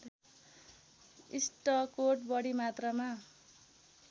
इस्टकोट बढी मात्रामा